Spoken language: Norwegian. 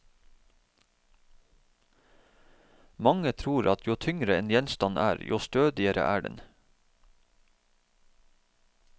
Mange tror at jo tyngre en gjenstand er, jo stødigere er den.